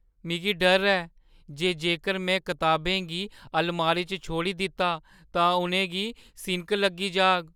मिगी डर ऐ जे जेकर में कताबें गी अलमारी च छोड़ी दित्ता, तां उ'नेंगी सिनक लग्गी जाग।